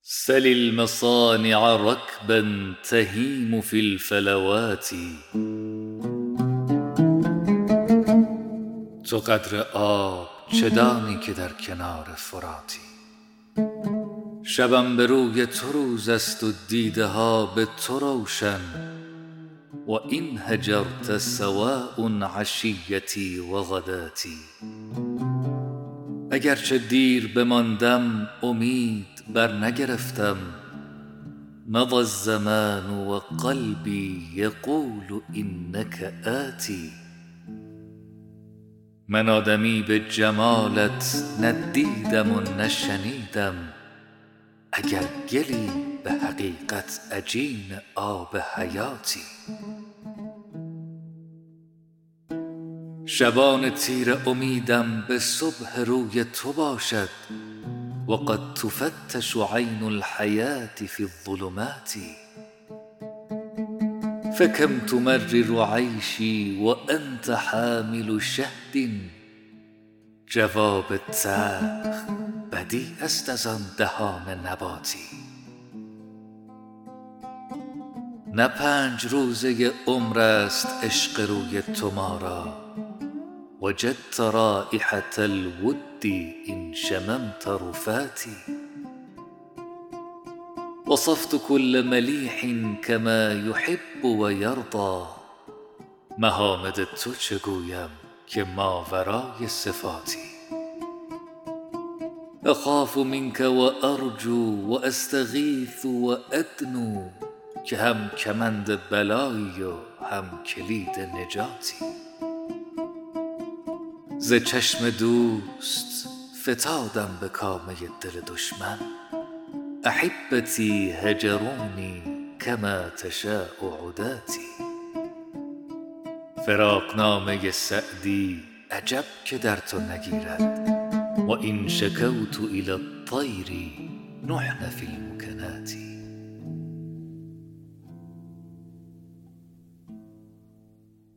سل المصانع رکبا تهیم فی الفلوات تو قدر آب چه دانی که در کنار فراتی شبم به روی تو روز است و دیده ها به تو روشن و إن هجرت سواء عشیتي و غداتي اگر چه دیر بماندم امید برنگرفتم مضی الزمان و قلبي یقول إنک آت من آدمی به جمالت نه دیدم و نه شنیدم اگر گلی به حقیقت عجین آب حیاتی شبان تیره امیدم به صبح روی تو باشد و قد تفتش عین الحیوة في الظلمات فکم تمرر عیشي و أنت حامل شهد جواب تلخ بدیع است از آن دهان نباتی نه پنج روزه عمر است عشق روی تو ما را وجدت رایحة الود إن شممت رفاتي وصفت کل ملیح کما یحب و یرضیٰ محامد تو چه گویم که ماورای صفاتی أخاف منک و أرجو و أستغیث و أدنو که هم کمند بلایی و هم کلید نجاتی ز چشم دوست فتادم به کامه دل دشمن أحبتي هجروني کما تشاء عداتي فراقنامه سعدی عجب که در تو نگیرد و إن شکوت إلی الطیر نحن في الوکنات